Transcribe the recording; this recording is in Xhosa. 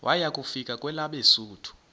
waya kufika kwelabesuthu